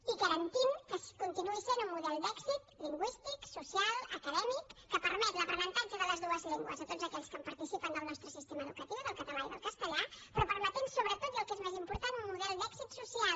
i garantim que continuï sent un model d’èxit lingüístic social acadèmic que permet l’aprenentatge de les dues llengües a tots aquells que participen del nostre sistema educatiu del català i del castellà però permetent sobretot i el que és més important un model d’èxit social